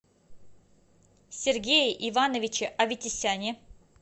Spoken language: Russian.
сергее ивановиче аветисяне